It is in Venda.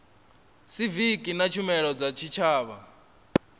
siviki na tshumelo dza tshitshavha